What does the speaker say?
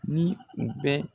Ni u bɛ